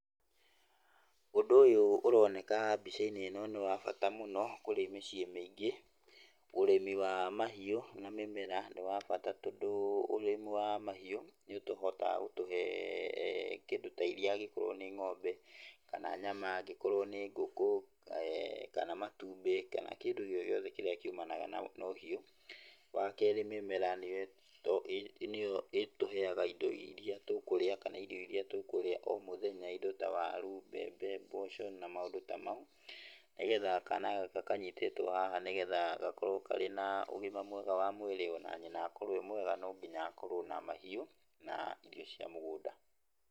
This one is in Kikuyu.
Ũndũ ũyũ ũroneka mbica-inĩ ĩno nĩ wabata mũno kũrĩ mĩciĩ mĩingĩ, ũrĩmi wa mahiũ na mĩmera nĩ wa bata tondũ, ũrĩmĩ wa mahiũ nĩ ũhotaga gũtũhe, kĩndũ ta iria angĩkorwo nĩ ng'ombe, kana nyama angĩkorwo nĩ ngũkũ, kana matumbĩ, kana kĩndũ o gĩothe kĩrĩa kiumanaga na ũhiũ. Wa kerĩ, mĩmera nĩyo ĩtũhega indo iria tũkũrĩa kana irio iria tũkũrĩa o mũthenya, indo ta waru, mbembe, mboco na maũndũ ta mau, nĩgetha kana gaka kanyitĩtwo haha, nĩgetha gakorwo karĩ na ũgima mwega wa mwĩrĩ o na nyina akorwo e mwega no nginya akorwo na mahiũ na irio cia mũgũnda.